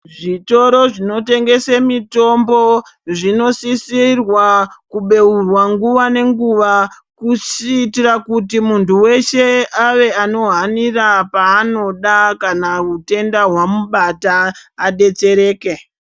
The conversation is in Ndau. Zvitoro zvinotengese mitombo zvinosisirwa kubeurwa nguva nenguva kuitira kuti muntu weshe ave anohanira paanoda kana utenda hwamubata adetsereke.